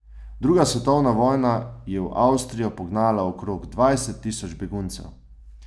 Druga svetovna vojna je v Avstrijo pognala okrog dvajset tisoč beguncev.